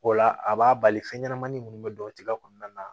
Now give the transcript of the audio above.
O la a b'a bali fɛn ɲɛnama minnu bɛ don o tiga kɔnɔna na